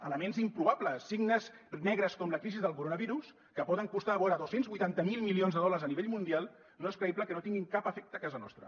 elements improbables signes negres com la crisi del coronavirus que poden costar vora dos cents i vuitanta miler milions de dòlars a nivell mundial no és creïble que no tinguin cap efecte a casa nostra